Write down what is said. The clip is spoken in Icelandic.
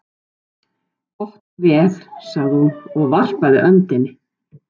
Gott og vel, sagði hún, og varpaði öndinni.